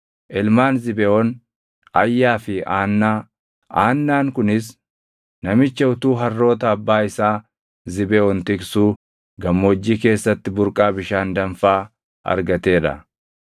Ilmaan Zibeʼoon: Ayyaa fi Aannaa. Aannaan kunis namicha utuu harroota abbaa isaa Zibeʼoon tiksuu gammoojjii keessatti burqaa bishaan danfaa argatee dha.